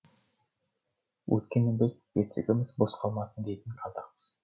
өйткені біз бесігіміз бос қалмасын дейтін қазақпыз